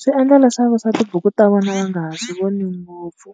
Swi endla leswaku swa tibuku ta vona va nga ha swi voni ngopfu,